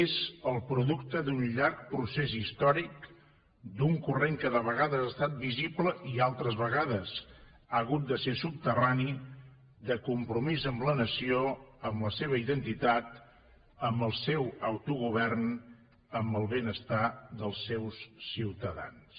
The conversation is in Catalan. és el producte d’un llarg procés històric d’un corrent que de vegades ha estat visible i altres vegades ha hagut de ser subterrani de compromís amb la nació amb la seva identitat amb el seu autogovern amb el benestar dels seus ciutadans